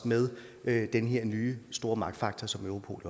med den her nye store magtfaktor som europol